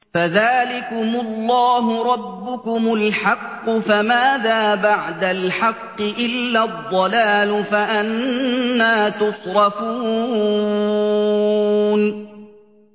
فَذَٰلِكُمُ اللَّهُ رَبُّكُمُ الْحَقُّ ۖ فَمَاذَا بَعْدَ الْحَقِّ إِلَّا الضَّلَالُ ۖ فَأَنَّىٰ تُصْرَفُونَ